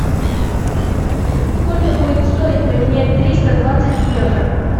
сколько будет стоить поменять триста двадцать евро